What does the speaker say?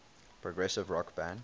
progressive rock band